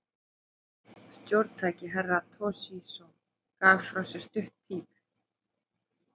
Stjórntæki Herra Toshizo gaf frá sér stutt píp.